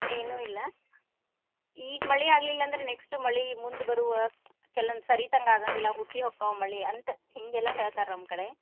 ಏನು ಇಲ್ಲಾ ಈಗ ಮಳಿ ಆಗ್ಲಿಲ್ಲಾ ಅಂದ್ರ next ಮಳಿ ಮುಂದ್ ಬರುವ ಕೆಲವೊಂದ್ ಸರಿತಂಗ ಆಗಾಂಗಿಲ್ಲಾ ಹುಸಿ ಹೊಕ್ಕಾವ ಮಳಿ ಅಂತ ಹಿಂಗೆಲ್ಲಾ ಹೇಳ್ತಾರ ನಮ್ ಕಡೆ.